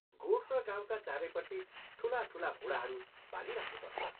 गोठ र गाउँका चारैपट्टि ठूला ठूला मूढाहरू बालिराख्नुपर्छ।